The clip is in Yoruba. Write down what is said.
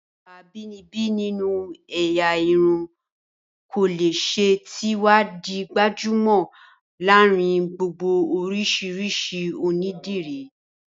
Ẹwà abínibí nínú ẹ̀yà irun kòlẹ́sẹ̀ ti wá di gbajúmọ̀ láàárín gbogbo oríṣiríṣi ondiri